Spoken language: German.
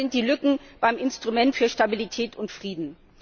Noch größer sind die Lücken beim Instrument für Stabilität und Frieden.